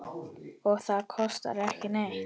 Og það kostar ekki neitt.